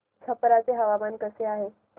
छप्रा चे हवामान कसे आहे